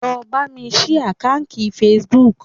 Lọ bámi ṣí àkáǹkì Facebook